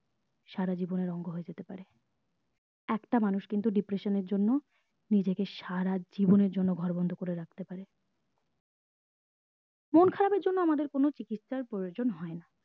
সারা জীবন আর এর অঙ্গ হয়ে যেতে পারে একটা মানুষ কিন্তু depression এর জন্য নিজেকে সারা জীবন এর জন্য ঘর বন্ধ করে রাখতে পারে মন খারাপ এর জন্য আমাদের কোনো চিকিৎসার প্রয়োজন হয়না